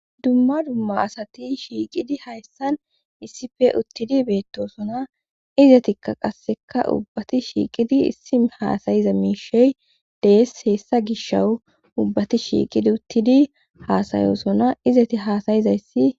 dumma dumma asati shiiqidi hayssan issife uttidi beettosona izetikka qasseka ubbati shiiqidi issim haasayiza miishey dees heessa gishowu ubbati shiiqidi uttidi haasayosona izeti haasayizayssi